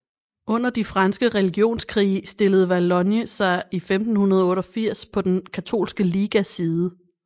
Under de franske religionskrige stillede Valognes sig i 1588 på den katolske ligas side